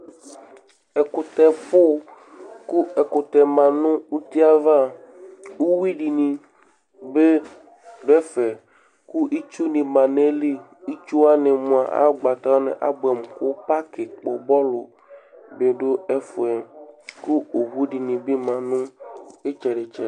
Ɛkʋtɛfʋ kʋ ɛkʋtɛ ma nʋ uti yɛ ava Uyui dɩnɩ bɩ dʋ ɛfɛ kʋ itsunɩ ma nʋ ayili Itsu wanɩ mʋa, ayʋ ʋgbata wanɩ abʋɛmʋ kʋ pakɩ kpɔ bɔlʋ dɩ dʋ ɛfʋ yɛ kʋ owu dɩ bɩ ma nʋ ɩtsɛdɩ-tsɛdɩ